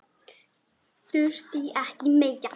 Þurfti ekki meira.